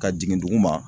Ka jigin dugu ma